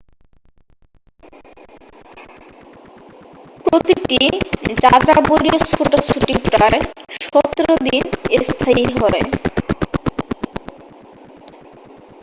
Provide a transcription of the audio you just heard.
প্রতিটি যাযাবরীয় ছোটাছুটি প্রায় 17 দিন স্থায়ী হয়